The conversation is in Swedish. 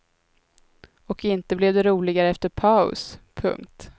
Och inte blev det roligare efter paus. punkt